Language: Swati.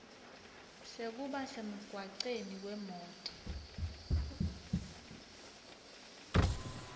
sekuba semgwaceni kwemoti